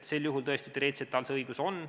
Sel juhul tõesti teoreetiliselt tal see õigus on.